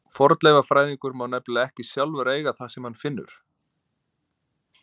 Fornleifafræðingur má nefnilega ekki sjálfur eiga það sem hann finnur.